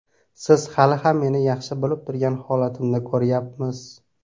Siz hali ham meni yaxshi bo‘lib turgan holatimni ko‘ryapmiz.